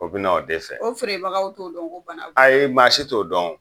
O be na o de fɛ . O feere bagaw t'o dɔn ko bana b'o la? Ayi maa si t'o dɔn .